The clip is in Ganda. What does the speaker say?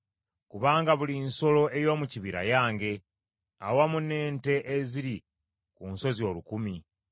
Kubanga buli nsolo ey’omu kibira yange, awamu n’ente eziri ku nsozi olukumi.